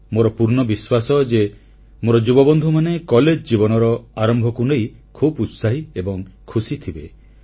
ମୋର ପୂର୍ଣ୍ଣ ବିଶ୍ୱାସ ଯେ ମୋର ଯୁବବନ୍ଧୁମାନେ କଲେଜ ଜୀବନର ଆରମ୍ଭକୁ ନେଇ ଖୁବ୍ ଉତ୍ସାହୀ ଏବଂ ଖୁସି ଥିବେ